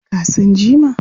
Ka san jima?